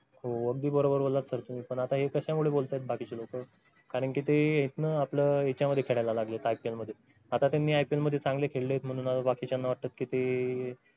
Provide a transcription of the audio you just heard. हो अगदी बरोबर बोललात sir तुम्ही पण आता हे कशामुळे बोलताहेत बाकीचे लोक कारण कि ते इथं आपलं हेच्यामध्ये खेळायला लागलेत ipl मध्ये आता त्यांनी ipl मध्ये चांगले खेळलेत म्हणून बाकीच्यांना वाटतं की ते